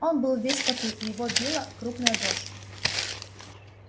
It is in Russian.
он был весь в поту и его била крупная дрожь